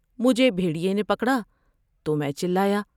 مجھے بھیٹریے نے پکڑا تو میں چلایا ۔